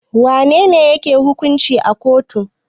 Wa nene yake hukunci a kotu?